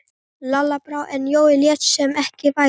Lalla brá, en Jói lét sem ekkert væri.